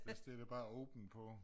Vi stiller bare åben på